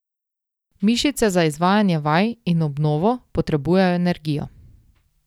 Mišice za izvajanje vaj in obnovo potrebujejo energijo.